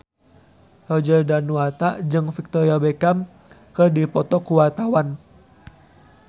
Roger Danuarta jeung Victoria Beckham keur dipoto ku wartawan